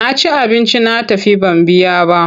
Na ci abinci na tafi ban biya ba.